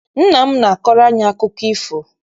Nna m na-akọrọ anyị akụkọ ifo.